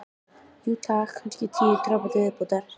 Jú, takk, kannski tíu dropa til viðbótar.